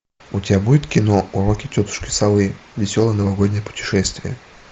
у тебя будет кино уроки тетушки совы веселое новогоднее путешествие